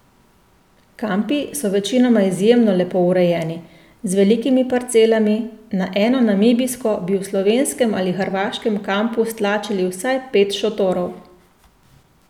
Kampi so večinoma izjemno lepo urejeni, z velikimi parcelami, na eno namibijsko bi v slovenskem ali hrvaškem kampu stlačili vsaj pet šotorov.